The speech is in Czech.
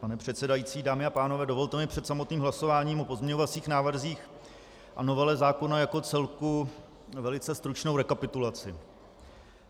Pane předsedající, dámy a pánové, dovolte mi před samotným hlasováním o pozměňovacích návrzích a novele zákona jako celku velice stručnou rekapitulaci.